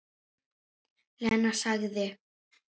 Lena sagði